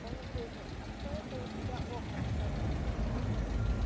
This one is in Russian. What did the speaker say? он услышал а кто это у тебя охает старуха